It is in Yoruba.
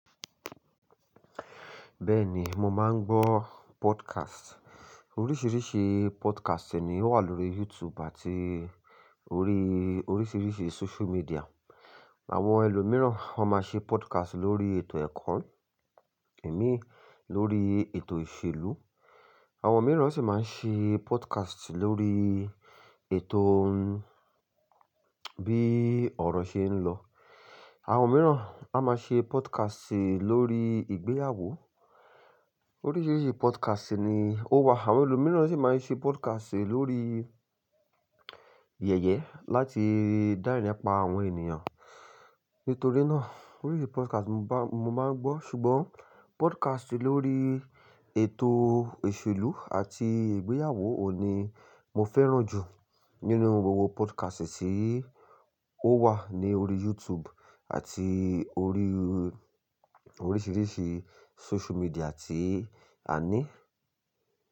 Bẹ́ẹ̀ni, mo máa ń gbọ́ podcast. Oríṣiríṣi podcast ni ó wà lórí YouTube àti orí oríṣiríṣi social media. Àwọn ẹlòmíràn ó máa ṣe podcast lórí ètò ẹ̀kọ́, èmi lórí ètò ìṣèlú, àwọn mìíràn sì máa ń ṣe podcast lórí ètò bí ọ̀rọ̀ ṣe ń lọ. Àwọn mìíràn a máa ṣe podcast lórí ìgbéyàwó. Oríṣiríṣi podcast ni ó wà. Àwọn ẹlòmíràn sì máa ń ṣe podcast lórí yẹ̀yẹ láti dá ẹrín pa àwọn ènìyàn. Nítorí náà oríṣi podcast mo bá-- mo máa ń gbọ́. Ṣùgbọ́n podcast lórí ètò ìṣèlú àti ìgbéyàwó ohun ni mo fẹ́ràn jù nínú gbogbo podcast tí ó wà ní orí YouTube àti orí oríṣiríṣi social media tí a ní.